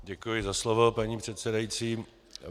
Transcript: Děkuji za slovo, paní předsedající.